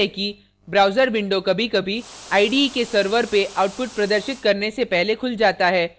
ध्यान दें कि browser window कभीकभी ide के server output प्रदर्शित करने से पहले खुल जाता है